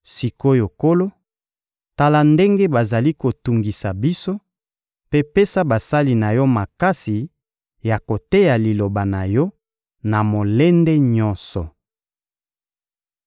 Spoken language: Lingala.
Sik’oyo Nkolo, tala ndenge bazali kotungisa biso, mpe pesa basali na Yo makasi ya koteya Liloba na Yo na molende nyonso.